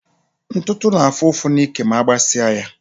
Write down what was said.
Ntụtụ na-afú ụfụ n'ike ma agbasi á ya.